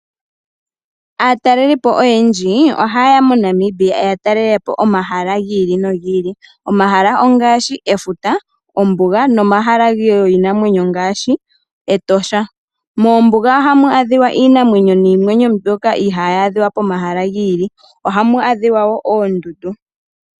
Aatalelipo oyendji ohaye ya MoNamibia, ya talele po omahala gi ili nogi ili. Omahala ongaashi efuta, ombuga, nomahala giinamwenyo ngaashi Etosha. Moombuga ohamu adhika iinamwenyo niimeno mbyoka ihaayi adhika pomahala gi ili. Ohamu adhika wo oondundu.